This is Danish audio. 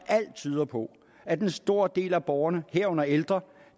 alt tyder på at en stor del af borgerne herunder ældre